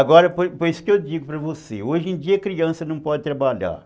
Agora, por isso que eu digo para você, hoje em dia a criança não pode trabalhar.